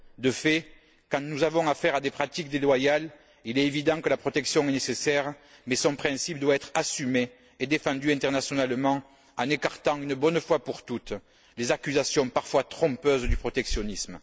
De fait, quand nous avons affaire à des pratiques déloyales, il est évident que la protection est nécessaire, mais son principe doit être assumé et défendu internationalement en écartant, une bonne fois pour toutes, les accusations parfois trompeuses du protectionnisme.